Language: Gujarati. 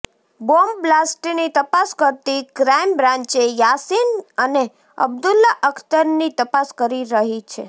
બોમ્બ બ્લાસ્ટની તપાસ કરતી ક્રાઇમ બ્રાંચે યાસીન અને અબ્દુલ્લા અખ્તરની તપાસ કરી રહી છે